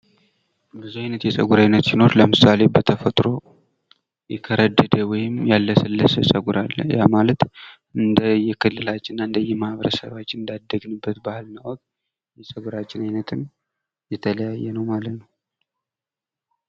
ብዙ አይነት ጸጉር ሲኖር ለምሳል በተፈጥሮ ያላሰለሰ ወይም ያልከረደደ ጸጉር አለ። ያ ማለት እንደየክልላችን ፣ እንደየማህበረሰባችን እና እንዳየባህላችን የጸግራቹን አይነትም የተለያየ ነው።